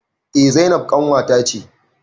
Eh zainab ƙanwata ce